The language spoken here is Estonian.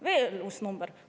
Veel uus number!